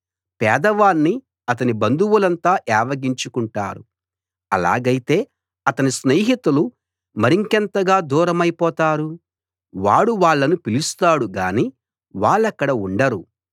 పేదవాణ్ణి అతని బంధువులంతా ఏవగించుకుంటారు అలాగైతే అతని స్నేహితులు మరింకెంతగా దూరమైపోతారు వాడు వాళ్ళను పిలుస్తాడు గానీ వాళ్ళక్కడ ఉండరు